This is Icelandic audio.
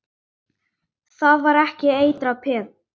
Það er ekki eitrað peð?